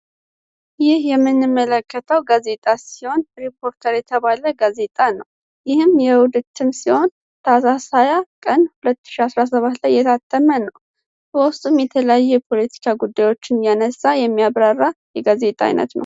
ይህ ምንመለከተው ጋዜጣ ሲሆን ሪፖርተር የተባለ ጋዜጣ ነው ከሁለት ዓመት በፊት ሲሆን ይህም ታሣ ታህሳስ 20 ቀን 2007 የታተመ ነው በውስጥም የተለያዩ የፖለቲካ ጉዳዮችን እያነሳ የሚያብራራ የጋዜጣ አይነት ነው።